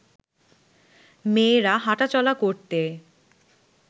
মেয়েরা হাঁটা চলা করতে